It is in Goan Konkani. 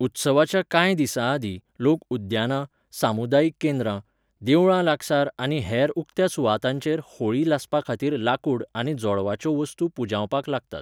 उत्सवाच्या कांय दिसांआदीं, लोक उद्यानां, सामुदायिक केंद्रां, देवळां लागसार आनी हेर उक्त्या सुवातांचेर होळी लासपाखातीर लाकूड आनी जोळवाच्यो वस्तू पुंजावपाक लागतात.